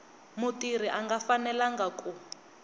mutirhi a nga fanelanga ku